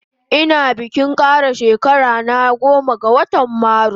Ina bikin kara shekara na ranan goma ga watan marus